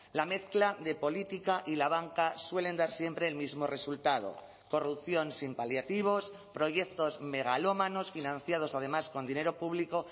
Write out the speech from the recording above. la mezcla de política y la banca suelen dar siempre el mismo resultado corrupción sin paliativos proyectos megalómanos financiados además con dinero público